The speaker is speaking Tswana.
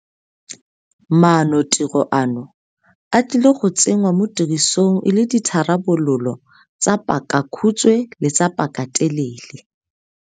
Maanotiro ano, a tlile go tsengwa mo tirisong e le ditharabololo tsa pakakhutshwe le tsa pakatelele.